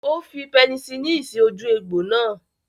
Ó fi pẹnisilini sí ojú egbò náà.